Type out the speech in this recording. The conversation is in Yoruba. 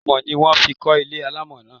Amọ̀ ni wón fi kọ́ ilé alámọ̀ náà.